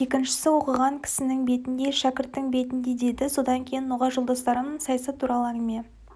екіншісі оқыған кісінің бетіндей шәкірттің бетіндей деді содан кейін ноғай жолдастарым саясат туралы әңгіме